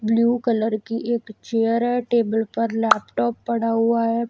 Blue colour की एक chair है टेबल पर लैपटॉप पड़ा हुआ है।